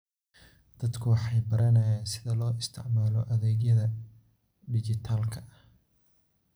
Dadku waxay baranayaan sida loo isticmaalo adeegyada dhijitaalka ah.